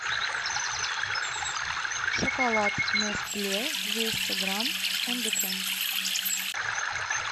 шоколад нестле двести грамм с фундуком